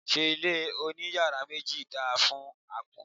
Ṣé ilé oní yàrá méjì dáa fún àpọ́n?